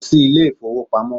Lọ si ilé ìfọwọ́pamo!